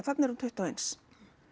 þarna er hún tuttugu og eins